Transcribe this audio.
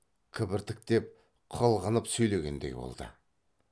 кібіртіктеп қылғынып сөйлегендей болды